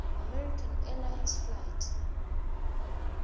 american airlines flight